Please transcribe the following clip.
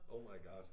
Oh my God